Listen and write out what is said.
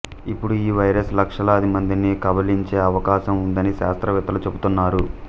ఇప్పుడు ఈ వైరస్ లక్షలాది మందిని కబళించే అవకాశం ఉందని శాస్త్రవేత్తలు చెప్తున్నారు